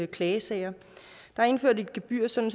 klagesager der er indført et gebyr sådan